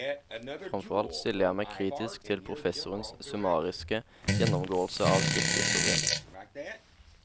Fremfor alt stiller jeg meg kritisk til professorens summariske gjennomgåelse av kirkehistorien.